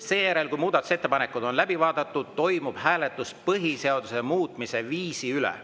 Seejärel, kui muudatusettepanekud on läbi vaadatud, toimub hääletus põhiseaduse muutmise viisi üle.